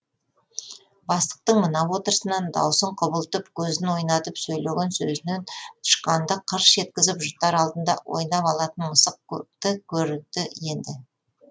бастықтың мына отырысынан даусын құбылтып көзін ойнатып сөйлеген сөзінен тышқанды қырш еткізіп жұтар алдында ойнап алатын мысықты көрді енді